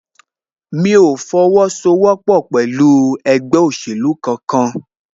Mí o fi owó sọ wọ́pọ̀ pẹ̀lú ẹgbẹ́ òsèlú kan kan